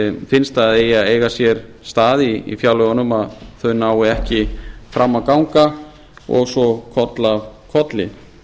finnst að bið að eiga sér stað í fjárlögunum að þau ná ekki fram að ganga og svo koll af kolli